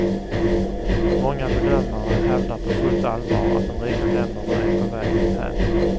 Många bedömare hävdar på fullt allvar att de rika länderna är på väg dithän.